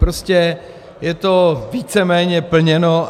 Prostě je to víceméně plněno.